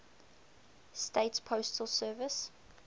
states postal service